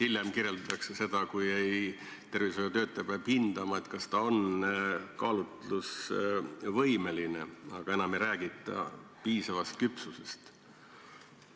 Hiljem kirjeldatakse pöördumises seda, et tervishoiutöötaja peab hindama, kas noor inimene on kaalutlusvõimeline, aga piisavast küpsusest enam ei räägita.